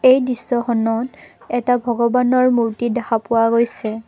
এই দৃশ্যখনত এটা ভগৱানৰ মূৰ্তি দেখা পোৱা গৈছে।